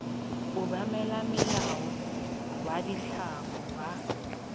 obamela molao wa ditlamo wa